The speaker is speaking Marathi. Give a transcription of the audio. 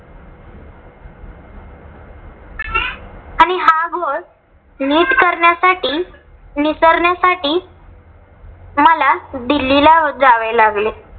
नीट करण्यासाठी निसरण्यासाठी मला दिल्लीला जावे लागले.